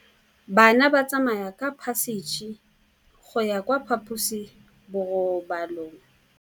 Bana ba tsamaya ka phašitshe go ya kwa phaposiborobalong.